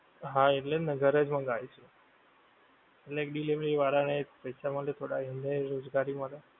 હા એટલે જ ને ઘરે જ મંગાવીશું, એટલે delivery વાળાં ને પૈસા મળે થોડાં, એનેય રોજગારી મળે.